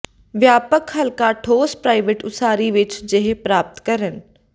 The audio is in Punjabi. ਵਿਆਪਕ ਹਲਕਾ ਠੋਸ ਪ੍ਰਾਈਵੇਟ ਉਸਾਰੀ ਵਿਚ ਜਿਹੇ ਪ੍ਰਾਪਤ ਕਰਨ